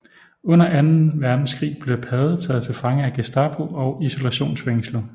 Under anden verdenskrig blev Pade taget til fange af Gestapo og isolationsfængslet